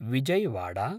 Vijayawada